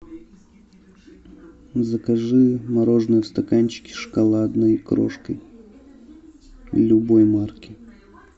закажи мороженое в стаканчике с шоколадной крошкой любой марки